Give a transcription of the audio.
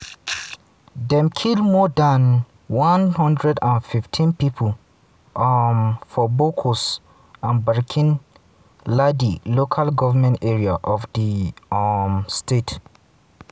dem kill more dan 115 pipo um for bokkos and barkin-ladi local goment areas of di um state.